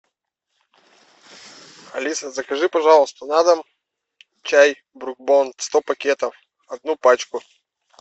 алиса закажи пожалуйста на дом чай брук бонд сто пакетов одну пачку